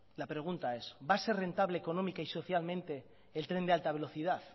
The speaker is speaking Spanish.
la pregunta es va a ser rentable económica y sociablemente el tren de alta velocidad